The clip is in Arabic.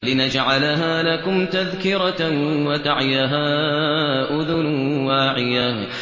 لِنَجْعَلَهَا لَكُمْ تَذْكِرَةً وَتَعِيَهَا أُذُنٌ وَاعِيَةٌ